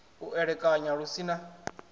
u elekanya lu si na